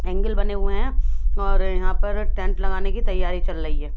अंगेल बने हुए है और यहाँ पर टेंट लगाने की तैयारी चल रही है।